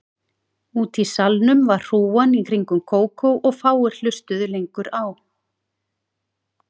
Úti í salnum var hrúgan í kringum Kókó og fáir hlustuðu lengur á